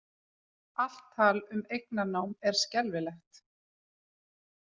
Allt tal um eignarnám er skelfilegt